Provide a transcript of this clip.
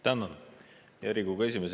Tänan, hea Riigikogu esimees!